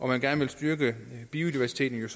man gerne vil styrke biodiversiteten